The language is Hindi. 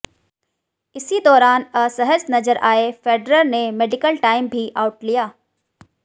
इसी दौरान असहज नजर आए फेडरर ने मेडिकल टाइम भी आउट लिया